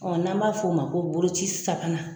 n'an b'a f'o ma ko boloci sabanan.